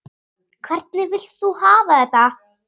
Hvernig vilt þú hafa þetta?